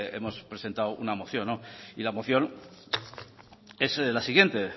hemos presentado una moción y la moción es la siguiente